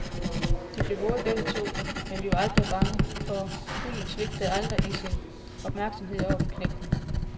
De blev våde begge to, men vi var aldrig bange, for hunden svigtede aldrig i sin opmærksomhed over for knægten.